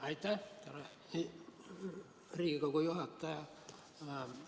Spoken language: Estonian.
Aitäh, härra Riigikogu juhataja!